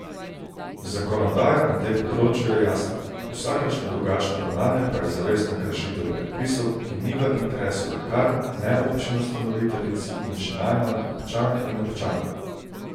Zakonodaja na tem področju je jasna, vsakršno drugačno ravnanje pa je zavestna kršitev predpisov, ki ni v interesu lekarn, ne občin ustanoviteljic in še najmanj občank in občanov.